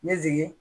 Ne jigin